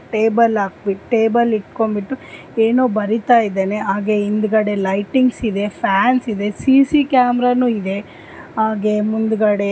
ತುಂಬಾ ಅಂದ್ರೆ ತುಂಬಾ ದೊಡ್ಡ್ ಮರಗಳು ಕಾನಿಸ್ತಾಇದವೇ ಇಲ್ಲಿ ಇಕ್ಕಿದರೆ ತುಂಬಾ ಅಂದ್ರೆ ತುಂಬಾ ಚೆನಾಗಿದೆ ನೋಡಲಿಕೆ ಸುತ್ತಮುತ್ತ ಗಿಡ ಮರಗಳೆಲ್ಲ ಇದಾವೆ .